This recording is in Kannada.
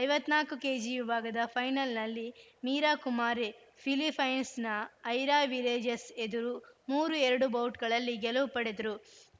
ಐವತ್ತ್ ನಾಲ್ಕು ಕೆಜಿ ವಿಭಾಗದ ಫೈನಲ್‌ನಲ್ಲಿ ಮೀರಾ ಕುಮಾರಿ ಫಿಲಿಪೈನ್ಸ್‌ನ ಐರಾ ವಿಲೇಜಸ್‌ ಎದುರು ಮೂರು ಎರಡು ಬೌಟ್‌ಗಳಲ್ಲಿ ಗೆಲುವು ಪಡೆದರು